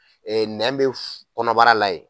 Ee nɛ bɛ kɔnɔbara la yen.